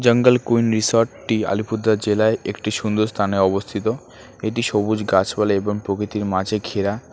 জঙ্গল কুইন রিসোর্টটি আলিপুরদুয়ার জেলায় একটি সুন্দর স্থানে অবস্থিত এটি সবুজ গাছপালা এবং প্রকৃতির মাঝে ঘেরা।